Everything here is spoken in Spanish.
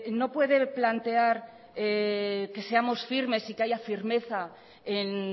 no puede plantear que seamos firmes y que haya firmeza en